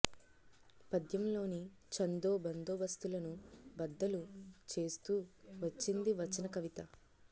పద్యం లోని ఛందో బందోబస్తులను బద్దలు చేస్తూ వచ్చింది వచన కవిత